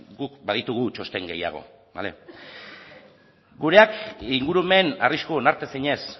guk baditugu txosten gehiago bale gureak ingurumen arrisku onartezinez